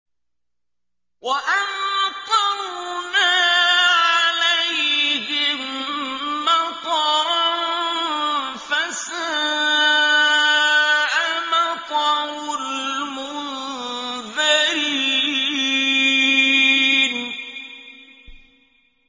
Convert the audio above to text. وَأَمْطَرْنَا عَلَيْهِم مَّطَرًا ۖ فَسَاءَ مَطَرُ الْمُنذَرِينَ